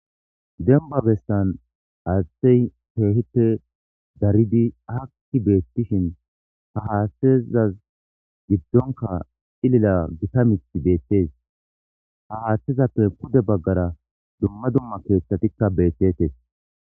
Dembba bessan haathey kehippe daridi aaki beetishin ha haaththezas giddon cilila gita miththay beettees ha haaththezappe pude baggara dumma dumma keeththatikka beetettees.